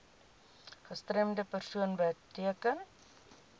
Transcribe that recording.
gestremde persoon beteken